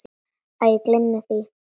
Æ, gleymdu því.